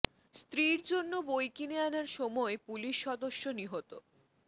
স্ত্রীর জন্য বই কিনে আনার সময় পুলিশ সদস্য নিহত